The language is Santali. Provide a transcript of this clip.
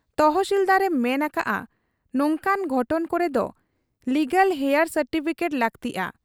ᱛᱚᱦᱥᱤᱞᱫᱟᱨ ᱮ ᱢᱮᱱ ᱟᱠᱟᱜ ᱟ ᱱᱚᱝᱠᱟᱱ ᱜᱷᱚᱴᱚᱱ ᱠᱚᱨᱮᱫᱚ ᱞᱤᱜᱟᱞᱦᱮᱭᱟᱨ ᱥᱟᱨᱴᱤᱯᱷᱤᱠᱮᱴ ᱞᱟᱹᱠᱛᱤᱜ ᱟ ᱾